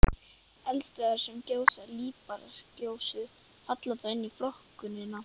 Verður nú vikið nánar að skilgreiningu þessara mikilvægu hugtaka.